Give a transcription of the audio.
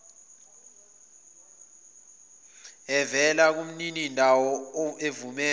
evela kumninindawo evumela